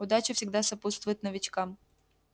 удача всегда сопутствует новичкам